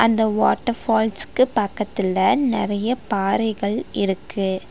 இந்த வாட்டர் ஃபால்ஸ்க்கு பக்கத்துல நெறைய பாறைகள் இருக்கு.